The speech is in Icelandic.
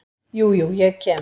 Jú, jú, ég kem.